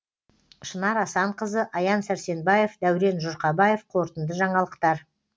шынар асанқызы аян сәрсенбаев дәурен жұрқабаев қорытынды жаңалықтар